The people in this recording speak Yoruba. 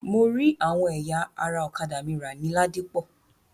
Mo rí àwọn ẹ̀yà ara ọ̀kádà mi rà ní Ladipọ.